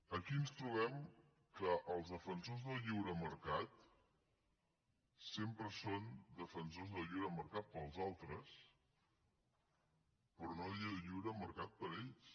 aquí ens trobem que els defensors del lliure mercat sempre són defensors del lliure mercat per als altres però no del lliure mercat per a ells